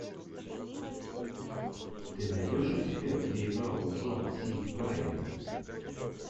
ты найдешь у себя где играл джон си райли